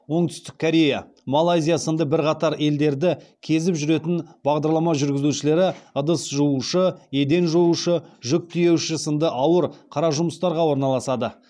оңтүстік корея малайзия сынды бірқатар елдерді кезіп жүретін бағдарлама жүргізушілері ыдыс жуушы еден жуушы жүк тиеуші сынды ауыр қара жұмыстарға орналасады